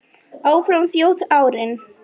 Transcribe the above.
Áfram þjóta árin